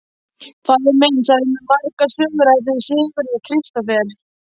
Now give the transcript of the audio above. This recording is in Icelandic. Faðir minn sagði mér margar sögur af þeim Sigurði Kristófer.